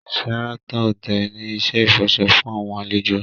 Sheraton Hotel ni iṣẹ ifọṣọ fun awọn alejo